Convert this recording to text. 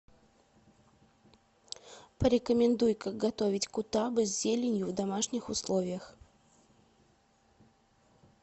порекомендуй как готовить кутабы с зеленью в домашних условиях